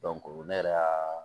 ne yɛrɛ y'a